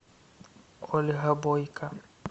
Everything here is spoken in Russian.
ольга бойко